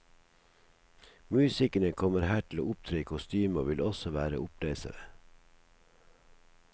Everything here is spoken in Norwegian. Musikerne kommer her til å opptre i kostyme og vil også være opplesere.